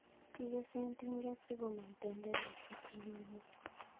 Kikesen tinget sikomong' tenderet chetililen.